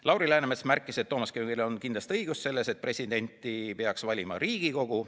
Lauri Läänemets märkis, et Toomas Kivimägil on kindlasti õigus selles, et presidenti peaks valima Riigikogu.